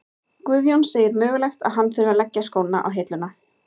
Guðjón segir mögulegt að hann þurfi að leggja skóna á hilluna.